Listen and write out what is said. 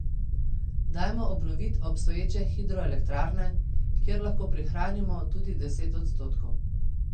Dajmo obnovit obstoječe hidroelektrarne, kjer lahko prihranimo tudi deset odstotkov.